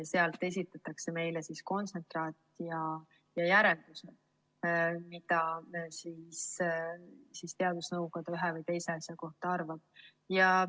Meile esitatakse kontsentraat ja järeldus, mida teadusnõukoda ühe või teise asja kohta arvab.